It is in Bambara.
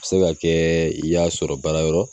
A bɛ se ka kɛ i y'a sɔrɔ baara yɔrɔ